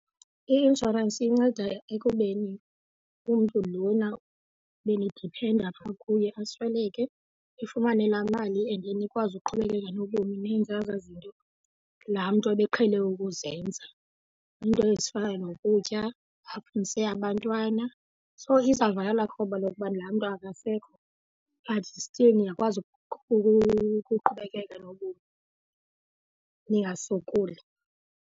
I-inshorensi inceda ekubeni umntu lona benidiphenda apha kuye asweleke nifumane laa mali and then nikwazi uqhubekeka nobomi nenze ezaa zinto laa mntu ebeqhele ukuzenza, iinto ezifana nokutya, afundise abantwana. So izavala elaa kroba lokuba laa mntu akasekho but still niyakwazi ukuqhubekeka nobomi ningasokoli.